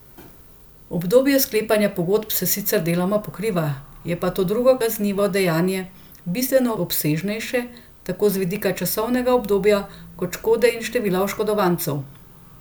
Obdobje sklepanja pogodb se sicer deloma pokriva, je pa to drugo kaznivo dejanje bistveno obsežnejše tako z vidika časovnega obdobja kot škode in števila oškodovancev.